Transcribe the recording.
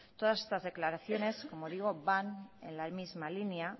todas estas declaraciones como digo van en la misma línea